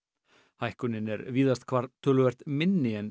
hækkun er víðast hvar töluvert minni en